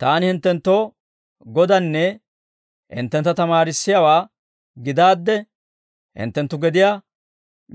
Taani hinttenttoo Godaanne hinttentta tamaarissiyaawaa gidaadde, hinttenttu gediyaa